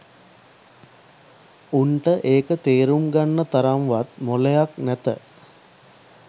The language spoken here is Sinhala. උන්ට ඒක තේරුම් ගන්න තරම් වත් මොලයක් නැත